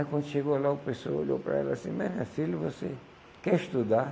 Aí, quando chegou lá, o pessoal olhou para ela assim, mas minha filha, você quer estudar?